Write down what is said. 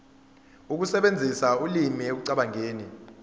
ukusebenzisa ulimi ekucabangeni